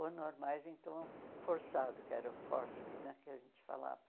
Ou normais então forçado, que era o fórceps né que a gente falava.